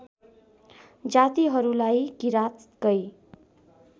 जातिहरूलाई किराँतकै